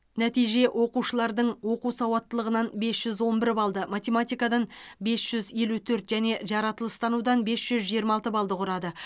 нәтиже оқушылардың оқу сауаттылығынан бес жүз он бір балды математикадан бес жүз елу төрт және жаратылыстанудан бес жүз жиырма алты балды құрады